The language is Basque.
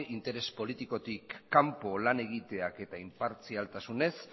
interes politikotik kanpo lan egiteak eta inpartzialtasunez